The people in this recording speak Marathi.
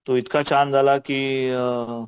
तो इतका छान झाला की अ